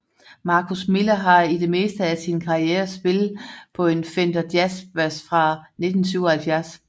Marcus Miller har i det meste af sin karriere spillet på en Fender Jazz Bass fra 1977